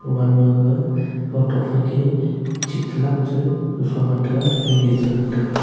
gaman gaga kow tokphai ke chik cha lak che gafang ga tega fan e che ngan tega.